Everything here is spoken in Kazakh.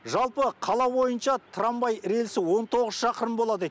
жалпы қала бойынша трамвай рельсі он тоғыз шақырым болады